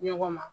Ɲɔgɔn ma